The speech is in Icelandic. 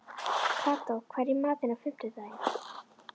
Kató, hvað er í matinn á fimmtudaginn?